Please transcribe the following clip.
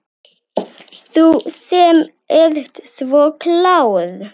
Þú sem ert svo klár.